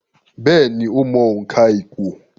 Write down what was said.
Bẹ́ẹ̀ni, ó mọ òǹkà ìpò